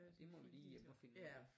Det må vi lige hjem og finde